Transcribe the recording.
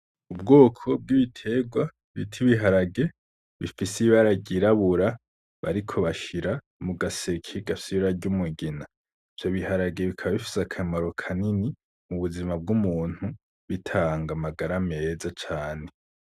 Ubwoko bw'ibiterwa bita ibiharage bifise ibara ry'irabura bariko bashira mu gaseke gafise ibara ry'umugina ivyo biharage bikaba bifise akamaro kanini m'ubuzima bw'umuntu ,bitanga amagara meza cane .